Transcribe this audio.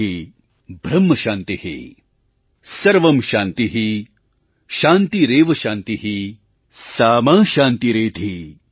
सर्वं शान्तिः शान्तिरेव शान्तिः सामा शान्तिरेधि ||